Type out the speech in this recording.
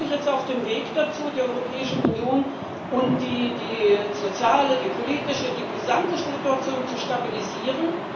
Sind wir wirklich jetzt auf dem Weg dazu, die Europäische Union und die soziale, die politische, die gesamte Situation zu stabilisieren?